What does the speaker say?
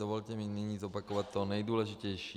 Dovolte mi nyní zopakovat to nejdůležitější.